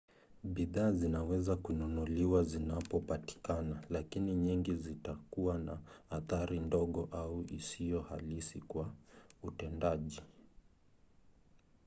bidhaa zinaweza kununuliwa zinapotakikana lakini nyingi zitakuwa na athari ndogo au isiyo halisi kwa utendaji